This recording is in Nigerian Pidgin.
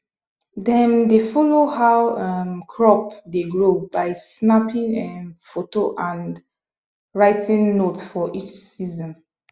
dem dey follow how um crop dey grow by snapping um photo and writing note for each season